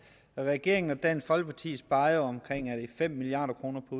regeringen og dansk folkeparti sparer omkring fem milliard kroner på